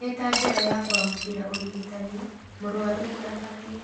ĩtanjĩra ya kũamũkira ũrigitani mũrwaru nĩ afatie;